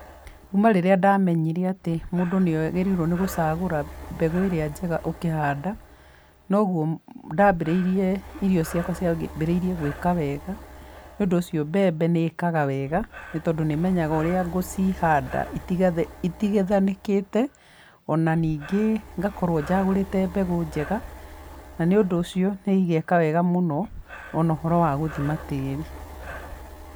Kuuma rĩrĩa ndamenyire atĩ mũndũ nĩagĩrĩirwo nĩ gũcagũra mbegũ ĩrĩa njega ũkĩhanda, noguo ndaambĩrĩirie, irio ciakwa ciambĩrĩirie gwĩka wega. Nĩũndũ ũcio mbembe nĩ ĩkaga wega, nĩ tondũ nĩ menyaga ũrĩa ngũciihanda itigĩthanĩkĩte. O na ningĩ ngakorwo njagũrĩte mbegũ njega, na nĩũndũ ũcio, nĩ igeeka wega mũno, o na ũhoro wa gũthima tĩĩri.